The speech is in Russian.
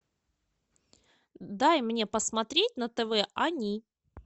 дай мне посмотреть на тв они